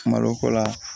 Malo ko la